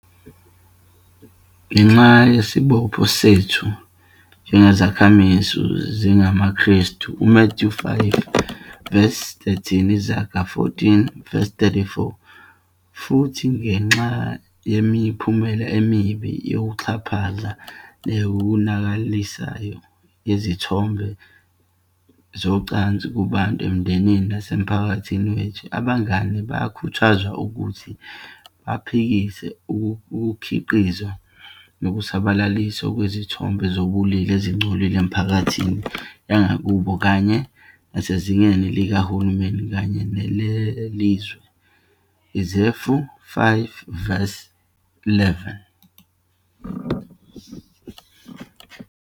Ngenxa yesibopho sethu njengezakhamizi ezingamaKrestu, uMathewu 5 verse 13 - Izaga 14 verse 34, futhi ngenxa yemiphumela emibi, yokuxhaphaza, neyonakalisayo yezithombe zocansi kubantu, emindenini, nasemphakathini wethu, Abangane bayakhuthazwa ukuthi baphikise ukukhiqizwa nokusatshalaliswa kwezithombe zobulili ezingcolile emiphakathini yangakubo, kanye nasezingeni likahulumeni kanye nelizwe, Efesu 5 verse 11.